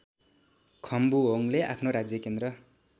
खम्बुहोङले आफ्नो राज्यकेन्द्र